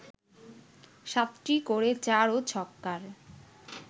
সাতটি করে চার ও ছক্কার